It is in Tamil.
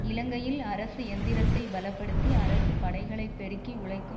இலங்கையில் அரசு எந்திரத்தைப் பலப்படுத்தி அரசு படைகளை பெருக்கி உழைக்கும்